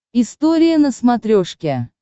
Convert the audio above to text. история на смотрешке